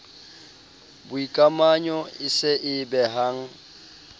boikamanyo e se e behang